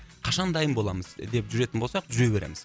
қашан дайын боламыз деп жүретін болсақ жүре береміз